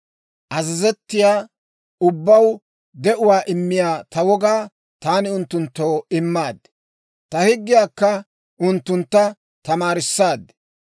Azazettiyaa ubbaw de'uwaa immiyaa ta wogaa taani unttunttoo immaad; ta higgiyaakka unttunttu tamaarissaad.